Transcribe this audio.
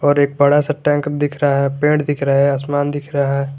और एक बड़ा सा टैंक दिख रहा है पेड़ दिख रहा है आसमान दिख रहा है।